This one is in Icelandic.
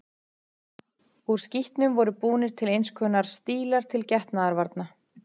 Úr skítnum voru búnir til eins konar stílar til getnaðarvarna.